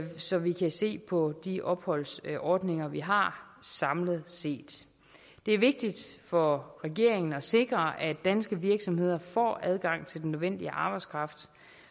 så vi kan se på de opholdsordninger vi har samlet set det er vigtigt for regeringen at sikre at danske virksomheder får adgang til den nødvendige arbejdskraft